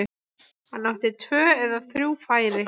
Hann átti tvö eða þrjú færi.